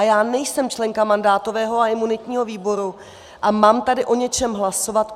A já nejsem členka mandátového a imunitního výboru a mám tady o něčem hlasovat.